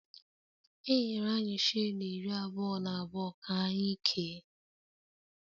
Enyere anyị shilling iri abụọ na abụọ ka anyị kee